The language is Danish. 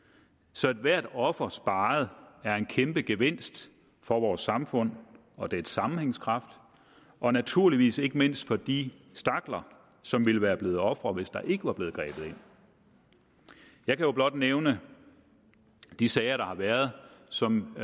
så hvert offer sparet er en kæmpe gevinst for vores samfund og dets sammenhængskraft og naturligvis ikke mindst for de stakler som ville være blevet ofre hvis der ikke var blevet grebet ind jeg kan jo blot nævne de sager der har været som